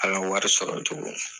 Ala wari sɔrɔ cogo.